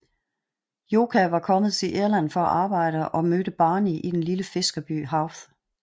Joka var kommet til Irland for at arbejde og mødte Barney i den lille fiskerby Howth